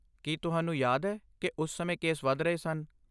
ਕੀ ਤੁਹਾਨੂੰ ਯਾਦ ਹੈ ਕਿ ਉਸ ਸਮੇਂ ਕੇਸ ਵੱਧ ਰਹੇ ਸਨ?